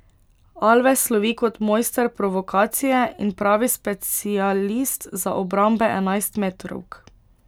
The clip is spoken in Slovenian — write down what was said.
Alves slovi kot mojster provokacije in pravi specialist za obrambe enajstmetrovk.